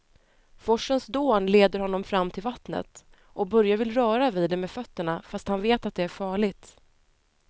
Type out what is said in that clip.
Forsens dån leder honom fram till vattnet och Börje vill röra vid det med fötterna, fast han vet att det är farligt.